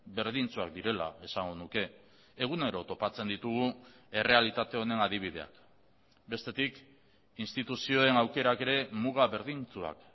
berdintsuak direla esango nuke egunero topatzen ditugu errealitate honen adibideak bestetik instituzioen aukerak ere muga berdintsuak